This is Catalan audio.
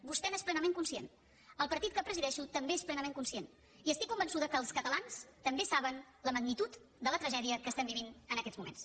vostè n’és plenament conscient el partit que presideixo també n’és plenament conscient i estic convençuda que els catalans també saben la magnitud de la tragèdia que vivim en aquests moments